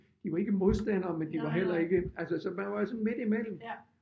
Jo ikke modstandere men de var heller ikke altså så man var sådan midt i mellem